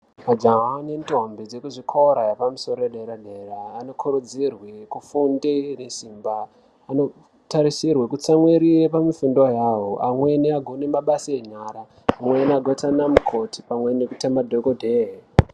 Majaha nendombi dzekuzvikora zvepamusoro pedera dera vanotarisirwa kufunda nesimba nekutarirwa kutsamwirire pafundo yavo amweni agone mabasa enyara amweni azoite anamukoti pamwe nekuita madhokodheya.